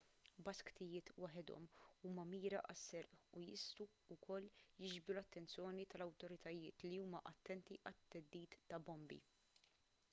basktijiet waħedhom huma mira għas-serq u jistgħu wkoll jiġbdu l-attenzjoni tal-awtoritajiet li huma attenti għat-theddid ta' bombi